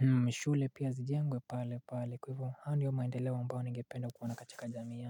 mashule pia zijengwe pale pale kwahivyo haya ndio maendeleo ambao ningependa kuona katika jamii ya.